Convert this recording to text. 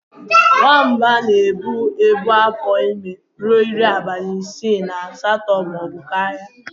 Nwamba na-ebu afọ ime ruo iri abalị isii na asatọ maọbụ karịa.